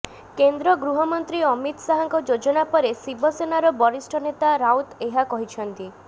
କେନ୍ଦ୍ର ଗୃହମନ୍ତ୍ରୀ ଅମିତ ଶାହାଙ୍କ ଯୋଜନା ପରେ ଶିବସେନାର ବରିଷ୍ଠ ନେତା ରାଉତ ଏହା କହିଛନ୍ତି